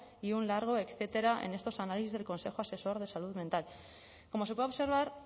y un largo etcétera en estos análisis del consejo asesor de salud mental como se puede observar